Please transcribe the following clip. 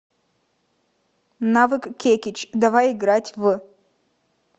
навык кекич давай играть в